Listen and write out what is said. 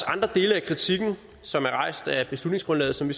andre dele af kritikken som er rejst af beslutningsgrundlaget som vi